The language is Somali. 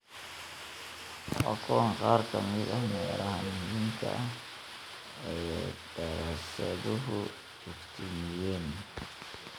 Waa kuwan qaar ka mid ah meelaha muhiimka ah ee daraasaduhu iftiimiyeen: